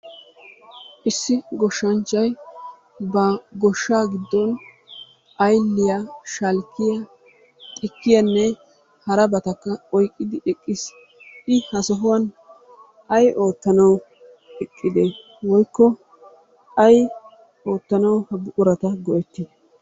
Issi goshshaanchchay ba goshsha giddon aylliyaa, shalkkiya, xikkiyanne harabatakka oyqqidi eqqiis.I ha sohuwan ay oottanaw eqqide? Woykko ay oottanaw ha buqurata go"etti?